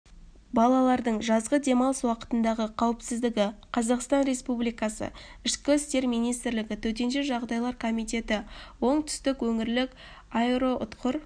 балалардың жазғы демалыс уақытындағы қауіпсіздігі қазақстан республикасы ішкі істер министрлігі төтенше жағдайлар комитеті оңтүстік өңірлік аэроұтқыр